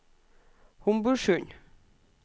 Homborsund